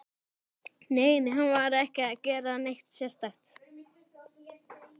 Nei, nei, hann var ekki að gera neitt sérstakt.